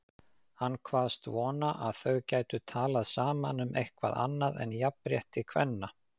Hann kvaðst vona að þau gætu talað saman um eitthvað annað en jafnrétti kvenna.